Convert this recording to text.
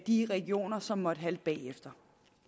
de regioner som måtte halte bagefter